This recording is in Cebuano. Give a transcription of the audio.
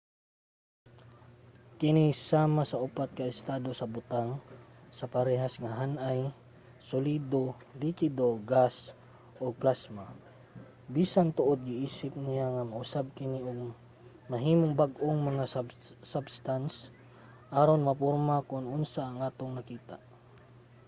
kini sama sa upat ka estado sa butang sa parehas nga han-ay: solido likido gas ug plasma bisan tuod giisip niya nga mausab kini ug mahimong bag-ong mga substance aron maporma kon unsa ang atong nakita